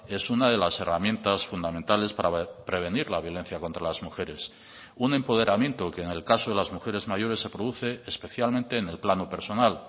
es una de las herramientas fundamentales para prevenir la violencia contra las mujeres un empoderamiento que en el caso de las mujeres mayores se produce especialmente en el plano personal